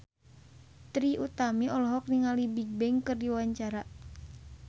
Trie Utami olohok ningali Bigbang keur diwawancara